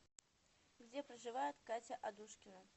где проживает катя адушкина